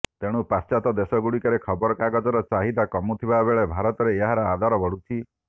ତେଣୁ ପାଶ୍ଚାତ୍ୟ ଦେଶଗୁଡ଼ିକରେ ଖବରକାଗଜର ଚାହିଦା କମୁଥିବାବେଳେ ଭାରତରେ ଏହାର ଆଦର ବଢ଼ୁଛି